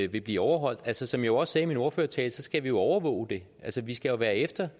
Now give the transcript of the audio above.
vil blive overholdt altså som jeg også sagde i min ordførertale skal vi jo overvåge det vi skal være efter